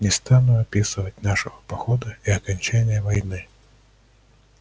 не стану описывать нашего похода и окончания войны